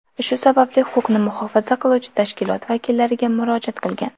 Shu sababli huquqni muhofaza qiluvchi tashkilot vakillariga murojaat qilgan.